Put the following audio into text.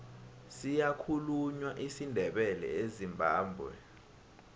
siyakhulunywa isindebele ezimbabwe